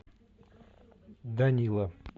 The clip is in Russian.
данила